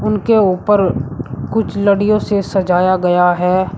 उनके ऊपर कुछ लड़ियों से सजाया गया है।